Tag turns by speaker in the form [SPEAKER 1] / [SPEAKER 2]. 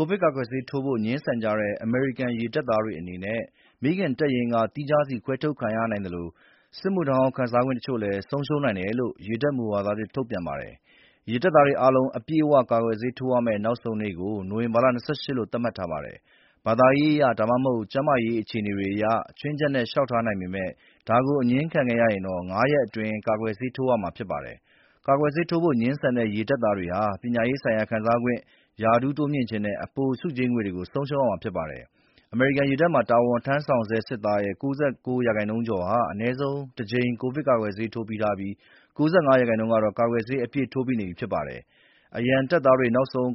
[SPEAKER 1] ိုဗစ်ကာကွယ်ဆေး ထိုးဖို့ ငြင်းဆန်ကြတဲ့ အမေရိကန် ရေတပ်သားတွေအနေနဲ့ မိခင်တပ်ရင်းက သီးခြားခွဲထုတ်ခံထားရနိုင်သလို စစ်မှုထမ်းဟောင်း ခံစားခွင့်တချို့လည်း ဆုံးရှုံးနိုင်ကြောင်း ရေတပ် မူဝါဒသစ်ထုတ်ပြန်ပါတယ်။ ရေတပ်သားတွေအားလုံး အပြည့်အဝ ကာကွယ်ဆေးထိုးရမယ့်နောက်ဆုံးနေ့ကို နိုဝင်ဘာ ၂၈ လို့ သတ်မှတ်ထားပါတယ်။ ဘာသာရေးအရ၊ ဒါမှမဟုတ် ကျန်းမာရေးအခြေအနေတွေအရ ခြွင်းချက်အနေနဲ့ လျှောက်ထားနိုင်ပေမယ့် ဒါကို အငြင်းခံရခဲ့ရင်တော့ ငါးရက်အတွင်း ကာကွယ်ဆေးထိုးရမှာဖြစ်ပါတယ်။ ကာကွယ်ဆေးထိုးဖို့ငြင်းဆန်တဲ့ ရေတပ်သားတွေဟာ ပညာရေးဆိုင်ရာ ခံစားခွင့်၊ ရာထူးတိုးမြှင့်ခြင်းနဲ့ အပိုဆုကြေးငွေတွေကို ဆုံးရှုံးမှာဖြစ်ပါတယ်။ အမေရိကန်ရေတပ်မှာ တာဝန်ထမ်းဆောင်ဆဲ တပ်သား ၉၉ % ကျော်ဟာ အနည်းဆုံး တကြိမ် ကိုဗစ်ကာကွယ်ဆေးထိုးပြီးနေပြီး ၉၅ % ကတော့ ကာကွယ်ဆေး အပြည့်ထိုးပြီးနေပြီးဖြစ်ပါတယ်။ အရံတပ်သားတွေ နောက်ဆုံး